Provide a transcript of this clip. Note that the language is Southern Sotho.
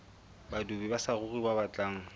badudi ba saruri ba batlang